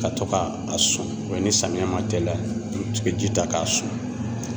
Ka to ka a sɔn ni samiya ma tɛliya, i bɛ ji ta k'a sɔn.